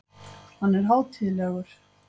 Hann er hátíðlegur.